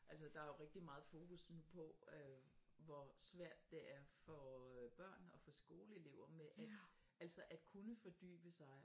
Altså der er jo rigtig meget fokus nu på øh hvor svært det er for øh børn og for skoleelever med at altså at kunne fordybe sig